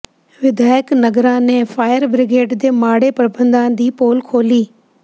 ਵਿਧਾਇਕ ਨਾਗਰਾ ਨੇ fire brigade ਦੇ ਮਾੜੇ ਪ੍ਰਬੰਧਾਂ ਦੀ ਪੋਲ ਖੋਲ੍ਹੀ